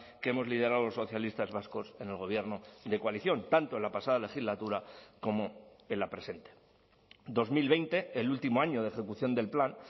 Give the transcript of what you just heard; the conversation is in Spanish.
que hemos liderado los socialistas vascos en el gobierno de coalición tanto en la pasada legislatura como en la presente dos mil veinte el último año de ejecución del plan